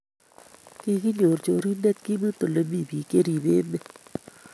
Kiginyor chorindet kemut ole mi biik cheribe emet